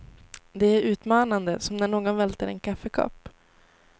Det är utmanande som när någon välter en kaffekopp.